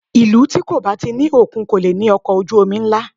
Ìlú tí kò bá ti ní òkun kò lè ní ọkọ̀ ojú omi ńlá